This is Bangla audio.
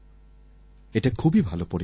এটা খুবই ভালো পরিবর্তন